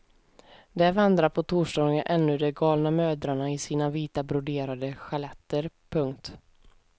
Där vandrar på torsdagarna ännu de galna mödrarna i sina vita broderade sjaletter. punkt